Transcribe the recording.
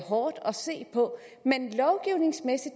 hårdt at se på men